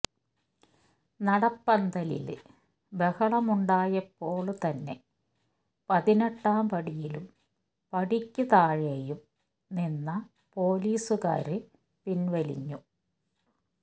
നടപ്പന്തലില് ബഹളമുണ്ടായപ്പോള്തന്നെ പതിനെട്ടാം പടിയിലും പടിക്ക് താഴെയും നിന്ന പോലീസുകാര് പിന്വലിഞ്ഞു